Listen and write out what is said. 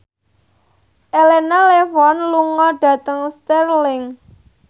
Elena Levon lunga dhateng Stirling